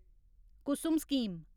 Kusum scheme